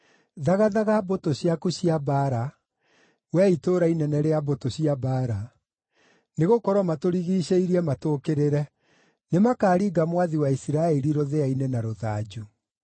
Thagathaga mbũtũ ciaku cia mbaara, wee itũũra inene rĩa mbũtũ cia mbaara, nĩgũkorwo matũrigiicĩirie matũũkĩrĩre. Nĩmakaringa mwathi wa Isiraeli rũthĩa-inĩ na rũthanju.